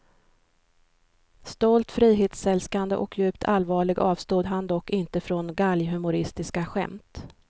Stolt, frihetsälskande och djupt allvarlig avstod han dock inte från galghumoristiska skämt.